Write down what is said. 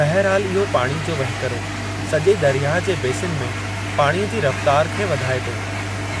बहिरहालु इहो पाणी जो वहिकरो सॼे दरयाह जे बेसिन में पाणीअ जी रफ़्तार खे वधाए थो